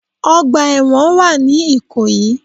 Ọgbà èwọ̀n wà ní ìkòyí